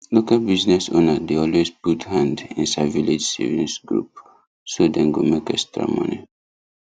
local business owner dey always put hand inside village savings group so dem go make extra money